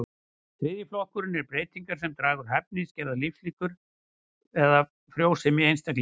Þriðji flokkurinn eru breytingar sem draga úr hæfni, skerða lífslíkur eða frjósemi einstaklinga.